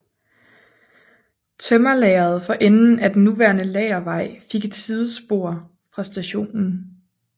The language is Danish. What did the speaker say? Tømmerlageret for enden af den nuværende Lagervej fik et sidespor fra stationen